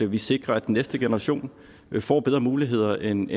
vi sikrer at næste generation får bedre muligheder end